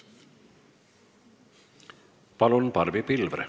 Palun, Barbi Pilvre!